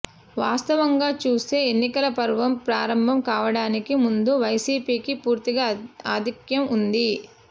వాస్తవంగా చూస్తే ఎన్నికల పర్వం ప్రారంభం కావడానికి ముందు వైసిపికి పూర్తిగా ఆధిక్యం ఉంది